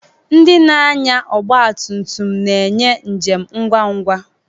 Ndị na-anya ọgba tum tum na-enye njem ngwa ngwa.